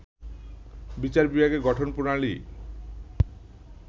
বিচার বিভাগের গঠন প্রণালী